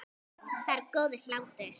Það er góður hlátur.